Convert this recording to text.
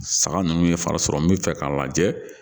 Saga ninnu ye fari sɔrɔ min fɛ k'a lajɛ